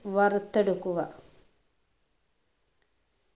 വറുത്തെടുക്കുക